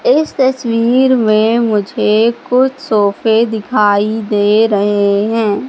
इस तस्वीर में मुझे कुछ सोफे दिखाई दे रहे हैं।